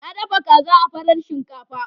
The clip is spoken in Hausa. Na dafa kaza da farar shinkafa.